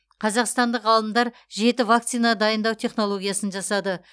қазақстандық ғалымдар жеті вакцина дайындау технологиясын жасады